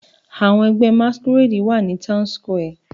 Àwọn ẹgbẹ́ Masqurade wà ní Town Square.